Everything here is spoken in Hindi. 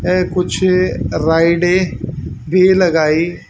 ऐ कुछ राइडें भी लगाई--